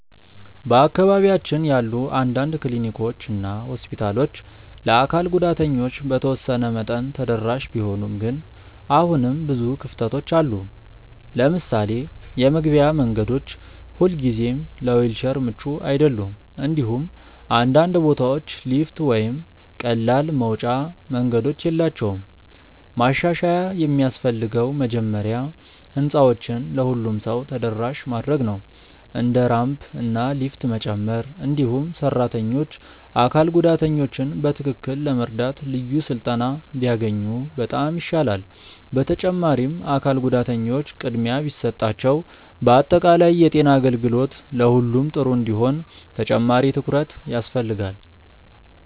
በአካባቢያችን ያሉ አንዳንድ ክሊኒኮች እና ሆስፒታሎች ለአካል ጉዳተኞች በተወሰነ መጠን ተደራሽ ቢሆኑም ግን አሁንም ብዙ ክፍተቶች አሉ። ለምሳሌ የመግቢያ መንገዶች ሁልጊዜ ለዊልቸር ምቹ አይደሉም፣ እንዲሁም አንዳንድ ቦታዎች ሊፍት ወይም ቀላል መውጫ መንገዶች የላቸውም። ማሻሻያ የሚያስፈልገው መጀመሪያ ህንፃዎችን ለሁሉም ሰው ተደራሽ ማድረግ ነው፣ እንደ ራምፕ እና ሊፍት መጨመር። እንዲሁም ሰራተኞች አካል ጉዳተኞችን በትክክል ለመርዳት ልዩ ስልጠና ቢያገኙ በጣም ይሻላል። በተጨማሪም አካል ጉዳተኞች ቅድሚያ ቢሰጣቸው በአጠቃላይ የጤና አገልግሎት ለሁሉም ጥሩ እንዲሆን ተጨማሪ ትኩረት ያስፈልጋል።